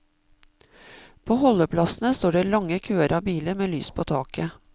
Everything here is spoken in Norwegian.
På holdeplassene står det lange køer av biler med lys på taket.